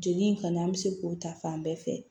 Joli in kɔni an bɛ se k'o ta fan bɛɛ fɛ